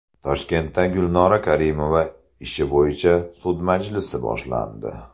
Toshkentda Gulnora Karimova ishi bo‘yicha sud majlisi boshlandi.